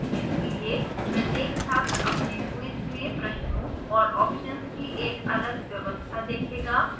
इसलिए प्रत्येक छात्र अपने quiz में प्रश्नों और options की एक अलग व्यवस्था देखेगा